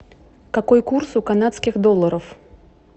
какой курс у канадских долларов